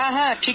হ্যাঁ